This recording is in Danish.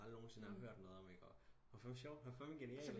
Aldrig nogen sinde har hørt noget om han var fandme sjov han var fandme genial